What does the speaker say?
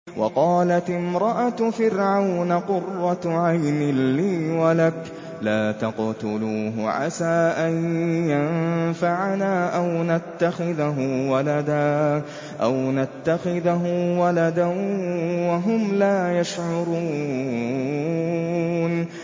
وَقَالَتِ امْرَأَتُ فِرْعَوْنَ قُرَّتُ عَيْنٍ لِّي وَلَكَ ۖ لَا تَقْتُلُوهُ عَسَىٰ أَن يَنفَعَنَا أَوْ نَتَّخِذَهُ وَلَدًا وَهُمْ لَا يَشْعُرُونَ